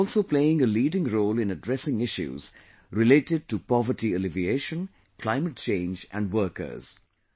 India is also playing a leading role in addressing issues related to poverty alleviation, climate change and workers